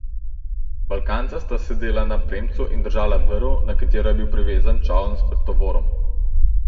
Balkanca sta sedela na premcu in držala vrv, na katero je bil privezan čoln s tovorom.